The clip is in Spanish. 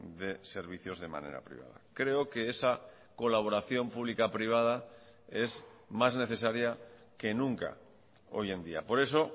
de servicios de manera privada creo que esa colaboración pública privada es más necesaria que nunca hoy en día por eso